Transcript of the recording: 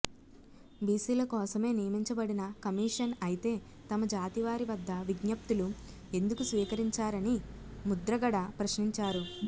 బిసిల కోసమే నియమించబడిన కమిషన్ అయితే తమ జాతి వారి వద్ద విజ్ఞప్తులు ఎందుకు స్వీకరించారని ముద్రగడ ప్రశ్నించారు